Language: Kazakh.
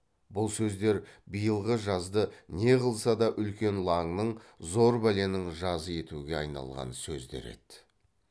бұл сөздер биылғы жазды не қылса да үлкен лаңның зор бәленің жазы етуге айналған сөздер еді